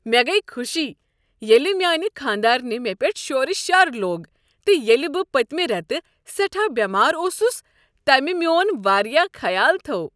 مےٚ گٔیہ خوشی ییٚلہ میٛانہ خانٛدارنہ مےٚ پٮ۪ٹھ شور شر لوٚگ تہٕ ییٚلہِ بہٕ پتۍمہِ ریتہٕ سیٹھاہ بیمار اوسس تٔمہِ میون واریاہ خیال تھوو ۔